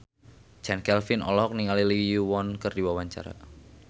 Chand Kelvin olohok ningali Lee Yo Won keur diwawancara